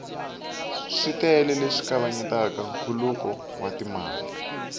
switele leswi kavanyetaka nkhuluko wa timali